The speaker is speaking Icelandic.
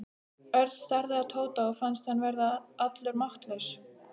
Örn starði á Tóta og fannst hann verða allur máttlaus.